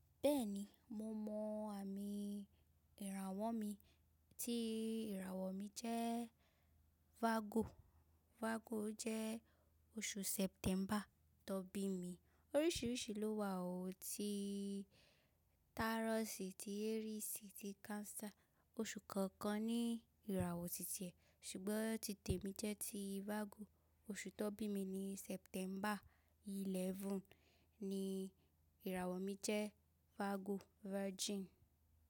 Bẹ́ẹ̀ni mo mọ àmì ìràwọ̀ mi, tí ìràwọ̀ mi jẹ́ Virgo. Virgo o jẹ́ oṣù September tọ bí mi. Oríṣìíríṣìí ló wà ó, ti Taurus, ti Aries, ti Cancer. Oṣù kọ̀ọ̀kan ní ìràwọ̀ ti ti ẹ̀, ṣùgbọ́n ti te mi jẹ́ ti Virgo. Oṣù tọ bí mi ni September eleven, ni ìràwọ̀ mi jẹ́ Virgo, Virgin.